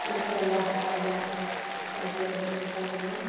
Que o que ela ela fazia, ela tinha que fazer mesmo.